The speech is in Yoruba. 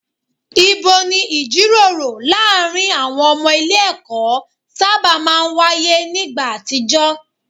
Ibo ni ìjíròrò láàárín àwọn ọmọ ilé ẹ̀kọ́ sábà máa ń wáyé nígbà àtijọ́?